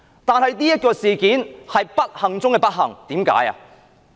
但是，這件事件是不幸中的不幸。